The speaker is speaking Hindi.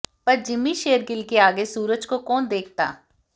पर जिम्मी शेरगिल के आगे सूरज को कौन देखता